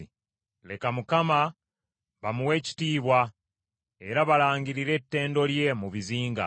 Leka Mukama bamuwe ekitiibwa era balangirire ettendo lye mu bizinga.